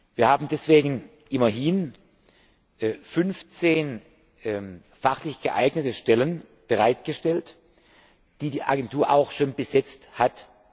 Wir haben deswegen immerhin fünfzehn fachlich geeignete Stellen bereitgestellt, die die Agentur auch schon besetzt hat.